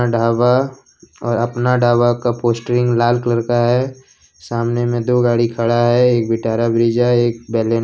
ढाबा और अपना ढाबा का पोस्ट्रिंग लाल कलर का है सामने में दो गाड़ी खड़ा है एक विटारा ब्रेजा एक बलेनो ।